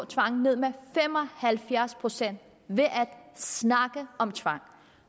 tvangen ned med fem og halvfjerds procent ved at snakke om tvang